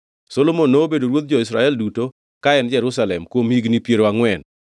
Solomon nobedo ruodh jo-Israel duto ka en Jerusalem kuom higni piero angʼwen.